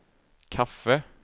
kaffe